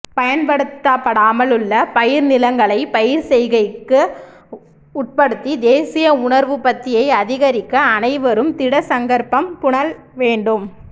பயன்படுத்தப்படாமல் உள்ள பயிர்நிலங்களை பயிர்செய்கைக்க உட்படுத்தி தேசிய உணவுற்பத்தியை அதிகரிக்க அனைவரும் திடசங்கற்பம்பூணல் வேண்டும்